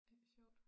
Ej hvor sjovt